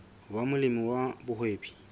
ho ba molemi wa mohwebi